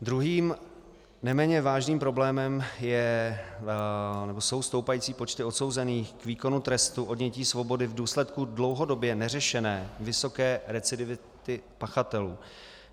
Druhým neméně vážným problémem jsou stoupající počty odsouzených k výkonu trestu odnětí svobody v důsledku dlouhodobě neřešené vysoké recidivity pachatelů.